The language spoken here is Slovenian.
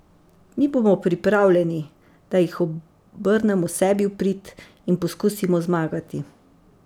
Mi bomo pripravljeni, da jih obrnemo sebi v prid in poskusimo zmagati.